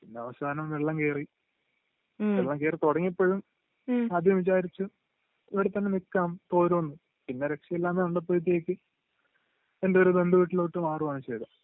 പിന്നെ അവസാനം വെള്ളം കേറി. വെള്ളം കേറി തുടങ്ങിയപ്പോഴും ആദ്യം വിചാരിച്ചു ഇവിടെ തന്നെ നിക്കാം തോരും എന്ന് പിന്നെ രക്ഷയില്ലാന്ന് കണ്ടപ്പോഴത്തേക് എൻ്റെ ഒരു ബന്ധു വീട്ടിലോട്ട് മാറുവാണ് ചെയ്തെ